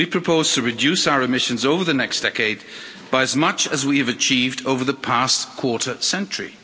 We propose to reduce our emissions over the next decade by as much as we have achieved over the past quarter century.